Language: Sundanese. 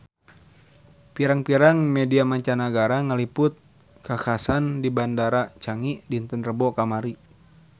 Pirang-pirang media mancanagara ngaliput kakhasan di Bandara Changi dinten Rebo kamari